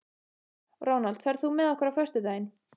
Ronald, ferð þú með okkur á föstudaginn?